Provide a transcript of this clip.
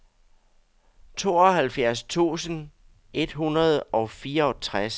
tooghalvfjerds tusind et hundrede og fireogtres